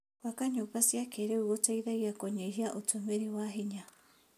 Gwaka nyũmba cia kĩrĩu gũteithagia kũnyihia ũtũmĩri wa hinya.